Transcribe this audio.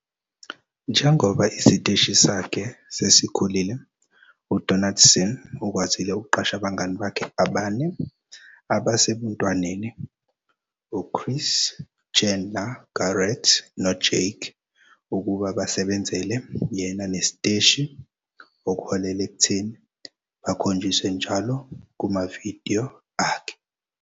Njengoba isiteshi sakhe sesikhulile uDonaldson ukwazile ukuqasha abangani bakhe abane abasebuntwaneni - uChris, Chandler, Garrett noJake - ukuba basebenzele yena nesiteshi, okuholele ekutheni bakhonjiswe njalo kumavidiyo akhe.